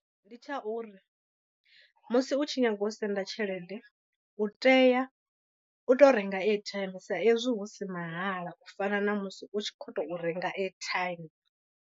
Ndi tsha uri musi u tshi nyaga u senda tshelede u tea u to renga airtime sa ezwi hu si mahala u fana na musi u tshi khou tou renga airtime.